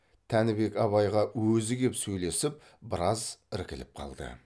тәнібек абайға өзі кеп сөйлесіп біраз іркіліп қалды